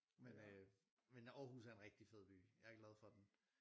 Men øh men Aarhus er en rigtig fed by jeg er glad for den